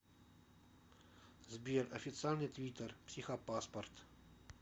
сбер официальный твиттер психопаспорт